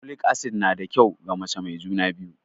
Folic acid na da kyau ga mace mai juna biyu